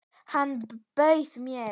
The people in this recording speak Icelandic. Hann bauð mér!